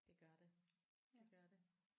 Det gør det. Det gør det